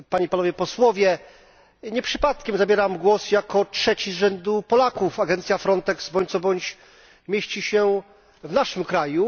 Nie przypadkiem zabieram głos jako trzeci z rzędu Polak agencja Frontex bądź co bądź mieści się w naszym kraju.